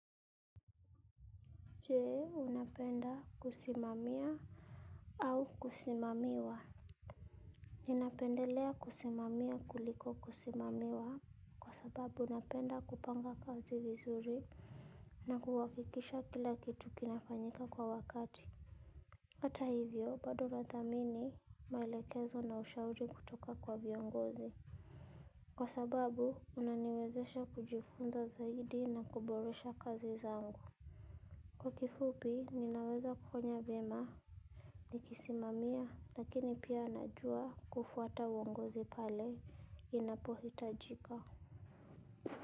Jee, unapenda kusimamia au kusimamiwa? Ninapendelea kusimamia kuliko kusimamiwa kwasababu napenda kupanga kazi vizuri na kuhakikisha kila kitu kinafanyika kwa wakati. Hata hivyo, bado nathamini maelekezo na ushauri kutoka kwa viongozi. Kwasababu unaniwezesha kujifunza zaidi na kuboresha kazi zangu. Kwa kifupi ninaweza kufanya vyema. Nikisimamiwa lakini pia najua kufuata uongozi pale inapo hitajika.